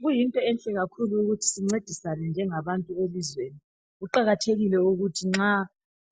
Kuyinto enhle kakhulu ukuthi sincedisane njengabantu elizweni kuqakathekile ukuthi nxa